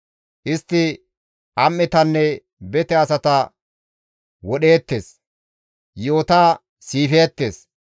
Istti am7etanne bete asata wodheettes; yi7ota siifeettes.